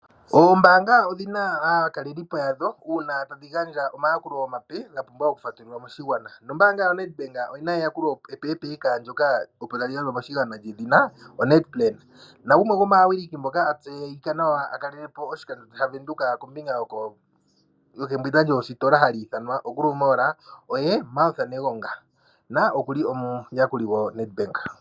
Oombaanga odhi na aakalelipo yadho uuna tadhi gandja omayakulo omape ga pumbwa okufatululwa moshigwana, nombaanga yaNedbank oyi na eyakulo epeepeka ndyoka opo tali gandjwa moshigwana lyedhina oNed-plan. Nagumwe gomaawiliki ngoka a tseyika nawa a kalele po oshikandjo dhaVenduka kombinga yokembwinda lyoositola haku ithanwa oGrove Mall, oye Martha Negonga, noku li omuyakuli goNedbank.